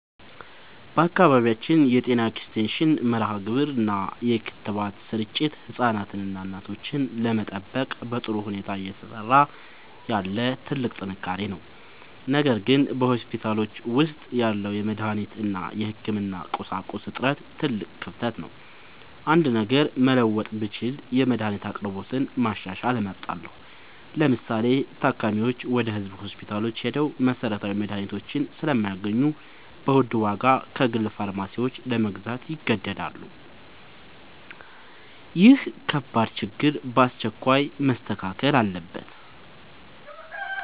በአካባቢያችን የጤና ኤክስቴንሽን መርሃግብር እና የክትባት ስርጭት ህፃናትንና እናቶችን ለመጠበቅ በጥሩ ሁኔታ እየሰራ ያለ ትልቅ ጥንካሬ ነው። ነገር ግን በሆስፒታሎች ውስጥ ያለው የመድኃኒት እና የህክምና ቁሳቁስ እጥረት ትልቅ ክፍተት ነው። አንድ ነገር መለወጥ ብችል የመድኃኒት አቅርቦትን ማሻሻል እመርጣለሁ። ለምሳሌ፤ ታካሚዎች ወደ ህዝብ ሆስፒታሎች ሄደው መሰረታዊ መድኃኒቶችን ስለማያገኙ በውድ ዋጋ ከግል ፋርማሲዎች ለመግዛት ይገደዳሉ። ይህ ከባድ ችግር በአስቸኳይ መስተካከል አለበት።